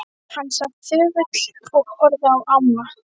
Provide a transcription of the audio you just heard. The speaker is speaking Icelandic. Hann sat þögull og horfði á ána.